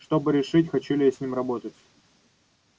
чтобы решить хочу ли я с ним работать